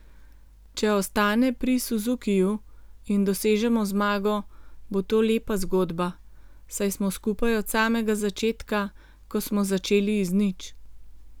Če ostane pri Suzukiju in dosežemo zmago, bo to lepa zgodba, saj smo skupaj od samega začetka, ko smo začeli iz nič.